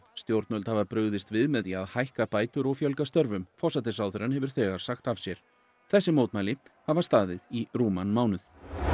stjórnvöld hafa brugðist við með því að hækka bætur og fjölga störfum forsætisráðherrann hefur þegar sagt af sér þessi mótmæli hafa staðið í rúman mánuð